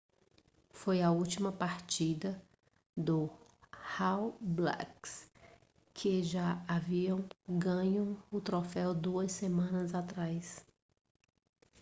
foi a última partida do all blacks que já havia ganho o troféu duas semanas atrás